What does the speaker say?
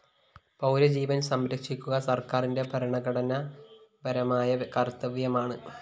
പൗരജീവന്‍ സംരക്ഷിക്കുക സര്‍ക്കാരിന്റെ ഭരണഘടനാപരമായ കര്‍ത്തവ്യമാണ്